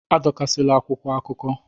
Adọkasịla akwụkwọ akụkọ!